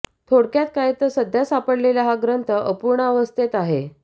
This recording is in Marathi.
थोडक्यात काय तर सध्या सापडलेला हा ग्रंथ अपूर्णावस्थेत आहे